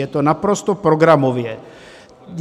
Je to naprosto programově.